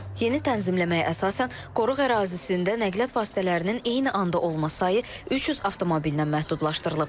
Yeni tənzimləməyə əsasən qoruq ərazisində nəqliyyat vasitələrinin eyni anda olması sayı 300 avtomobillə məhdudlaşdırılıb.